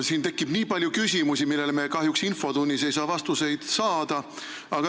Siin tekib nii palju küsimusi, millele me kahjuks infotunnis vastuseid ei saa.